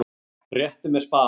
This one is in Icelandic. Réttu mér spaðann!